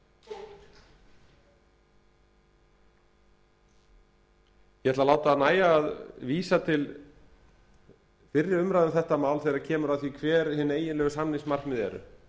ég ætla að láta nægja að vísa til fyrri umræðu um þetta mál þegar kemur að því hver hin eiginlegu samningsmarkmið eru